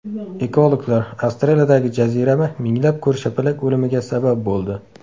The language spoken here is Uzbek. Ekologlar: Avstraliyadagi jazirama minglab ko‘rshapalak o‘limiga sabab bo‘ldi.